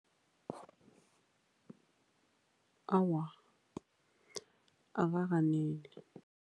Awa, akakaneli.